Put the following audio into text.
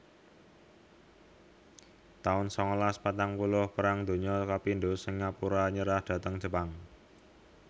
taun sangalas patang puluh Perang Donya kapindho Singapura nyerah dhateng Jepang